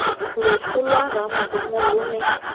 loso lwa ramarumo lo ne